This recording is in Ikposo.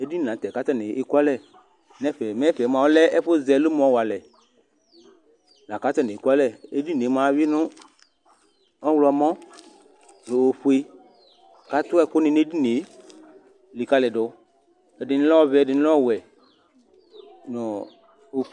Eɖɩnɩ lɩ la nutɛ keku alɛ nɛfɛ Mɛ tɛ lɛ ɛku zɛ ɛlomɔ walɛ Laku atanɩ eku alɛ Eɖɩnɩe mua, awui nuɔɣlɔmɔ nu ofoe Atu ɛku nɩ nu eɖinie likaliɖu Ɛɖɩnɩ lɛ ɔvɛ, ɛɖɩnɩ lɛ ɔwɛnu ɔf